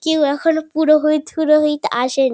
কেউ এখনো পুরোহিত ফুরোহিত আসে নি।